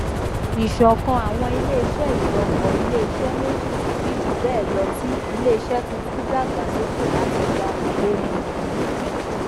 ìṣọkan àwọn iléiṣẹ ìjọpọ iléiṣẹ méjì tàbí jù bẹẹ lọ tí iléiṣẹ tuntun dàgbàsókè láti gba ohunìní